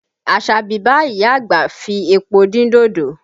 Asabi bá ìyá àgbà fi epo dín dodo